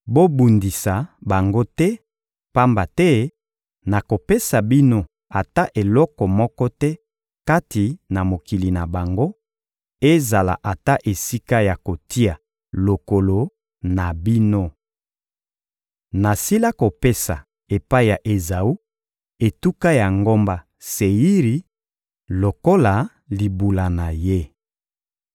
Bobundisa bango te, pamba te nakopesa bino ata eloko moko te kati na mokili na bango, ezala ata esika ya kotia lokolo na bino. Nasila kopesa, epai na Ezawu, etuka ya ngomba Seiri lokola libula na ye.